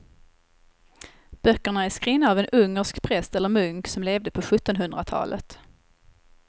Böckerna är skrivna av en ungersk präst eller munk som levde på sjuttonhundratalet.